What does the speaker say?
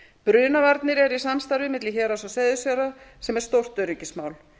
brunavarnir eru í samstarfi milli héraðs og seyðisfjarðar sem er stórt öryggismál